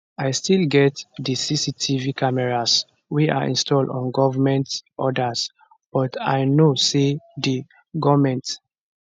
i still get di cctv cameras wey i install on government orders but i know say di goment